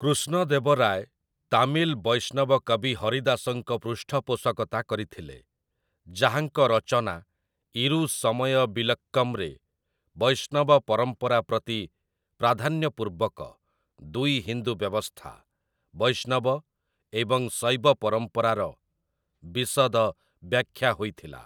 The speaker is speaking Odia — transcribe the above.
କୃଷ୍ଣଦେବରାୟ ତାମିଲ ବୈଷ୍ଣବ କବି ହରିଦାସଙ୍କ ପୃଷ୍ଠପୋଷକତା କରିଥିଲେ, ଯାହାଙ୍କ ରଚନା 'ଇରୁସମୟ ବିଲକ୍କମ'ରେ ବୈଷ୍ଣବ ପରମ୍ପରା ପ୍ରତି ପ୍ରାଧାନ୍ୟ ପୂର୍ବକ ଦୁଇ ହିନ୍ଦୁ ବ୍ୟବସ୍ଥା, ବୈଷ୍ଣବ ଏବଂ ଶୈବ ପରମ୍ପରାର ବିଶଦ ବ୍ୟାଖ୍ୟା ହୋଇଥିଲା ।